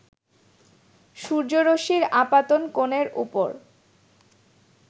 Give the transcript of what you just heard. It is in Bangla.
সূর্যরশ্মির আপাতন কোণের উপর